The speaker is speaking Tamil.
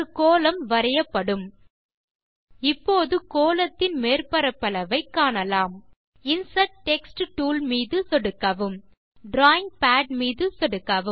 ஒரு கோளம் வரையப்படும் இப்போது கோளத்தின் மேற்பரப்பளவை காணலாம் மீது சொடுக்கவும் insert text tool drawing pad மீது சொடுக்கவும்